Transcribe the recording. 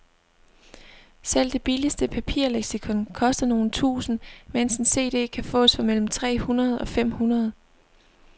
Selv det billigste papirleksikon koster nogle tusinde, mens en cd kan fås for mellem tre hundrede og fem hundrede.